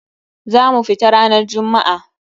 Za mu fita ranar jummu'a.